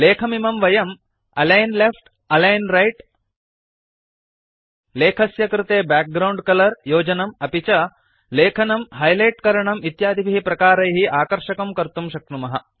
लेखमिमं वयं align left align right लेखस्य कृते बैकग्राउण्ड कलर योजनं अपि च लेखनं हाइलाइट करणं इत्यादिभिः प्रकारैः आकर्षकं कर्तुं शक्नुमः